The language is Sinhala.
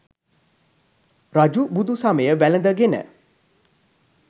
රජු බුදු සමය වැළඳ ගෙන